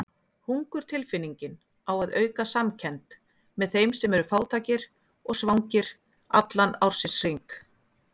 Hungurtilfinningin á að auka samkennd með þeim sem eru fátækir og svangir allan ársins hring.